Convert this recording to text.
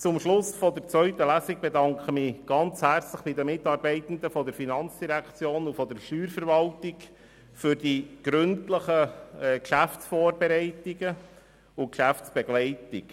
Zum Schluss der zweiten Lesung bedanke ich mich herzlich bei den Mitarbeitenden der FIN und der Steuerverwaltung für die gründlichen Geschäftsvorbereitungen und die Geschäftsbegleitung.